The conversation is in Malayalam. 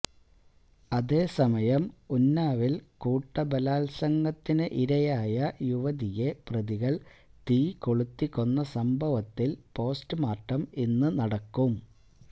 അതേസമയം ഉന്നാവില് കൂട്ടബലാത്സംഗത്തിന് ഇരയായ യുവതിയെ പ്രതികൾ തീ കൊളുത്തി കൊന്ന സംഭവത്തിൽ പോസ്റ്റ്മോര്ട്ടം ഇന്ന് നടക്കും